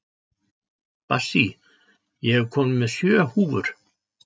Bassí, ég kom með sjö húfur!